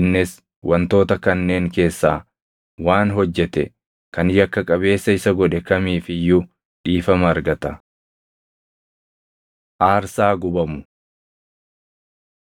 innis wantoota kanneen keessaa waan hojjete kan yakka qabeessa isa godhe kamiif iyyuu dhiifama argata.” Aarsaa Gubamu